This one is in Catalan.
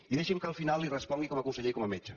i deixi’m que al final li respongui com a conseller i com a metge